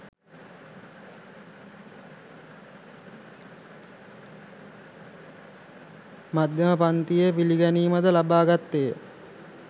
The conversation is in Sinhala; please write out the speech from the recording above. මධ්‍යම පංතියේ පිළිගැනීම ද ලබා ගත්තේය.